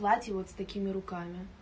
платье вот с такими руками